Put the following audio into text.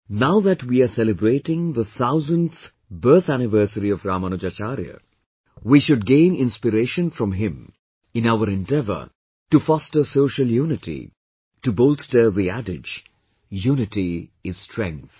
Now that we are celebrating the 1000th birth anniversary of Ramanujacharya, we should gain inspiration from him in our endeavour to foster social unity, to bolster the adage 'unity is strength'